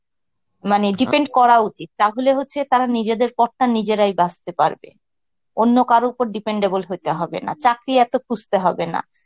মানে depend করা উচিত তাহলে হচ্ছে তারা নিজেদের পথটা নিজেরাই বাছতে পারবে. অন্য কারোর উপর dependable হইতে হবে না, চাকরি এত খুঁজতে হবে না.